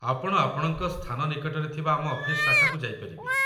ଆପଣ ଆପଣଙ୍କ ସ୍ଥାନ ନିକଟରେ ଥିବା ଆମ ଅଫିସ୍‌ ଶାଖାକୁ ଯାଇପାରିବେ।